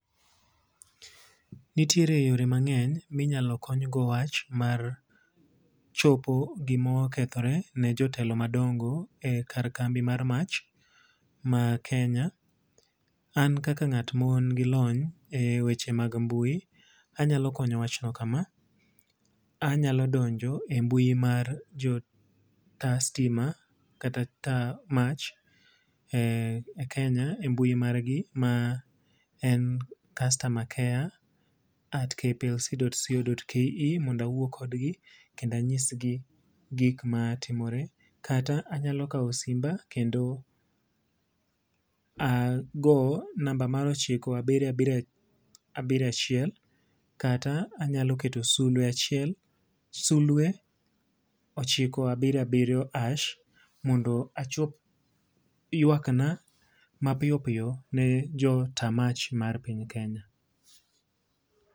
Nitiere yore mang'eny minyalo kony go wach mar chopo gima okethore ne jotelo madongo e kar kambi mar mach ma Kenya. An kaka ng'at ma nigi lony e weche mag mbui, anyalo konyo wach no kama, anyalo donjo e mbui mar jo ta stima, kata ta mach e Kenya, e mbui margi ma en customer care at KPLC at co dot ke. Mondo awo kodgi kendo anyisgi gik ma timore. Kata anyalo kawo simba kendo ago namba mar ochiko, abiriyo, abiriyo, abiriyo achiel. Kata anyalo keto sulwe achiel, sulwe ochiko, abiriyo, abiriyo, hash mondo achop ywak na ma piyo piyo ne jo ta mach mar piny Kenya.